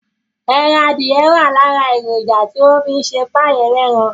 Ẹran adìye wà lára èròjà tí wọ́n fi ń ṣe páì ẹlẹ́ran